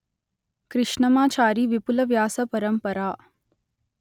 కృష్ణమాచారి విపుల వ్యాస పరంపర